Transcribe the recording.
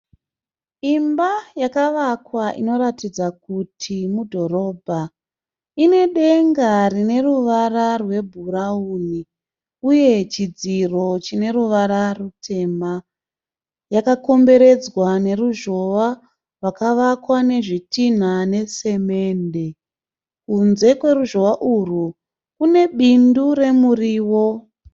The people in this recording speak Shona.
Imba yakawakwa inoratidza kuti mudhorobha. Ine denga rine ruvara rwebhurauni uye chidziro chine ruvara rutema. Yakakomberedzwa ne ruzhowa rakawakwa nezvitinha nesemende. Kunze kweruzhowa urwu kune bindu remuriwo